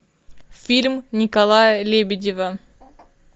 фильм николая лебедева